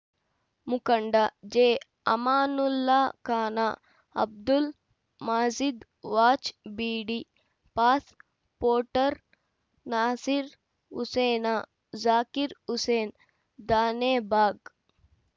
ಮುಖಂಡ ಜೆಅಮಾನುಲ್ಲಾ ಖಾನ ಅಬ್ದುಲ್‌ ಮಾಜೀದ್‌ ವಾಚ್‌ ಬೀಡಿ ಪಾಸ್‌ ಪೋಟ್‌ರ್ ನಾಸೀರ್‌ ಹುಸೇನ ಜಾಕೀರ್‌ ಹುಸೇನ್‌ ದಾನೆಬಾಗ್‌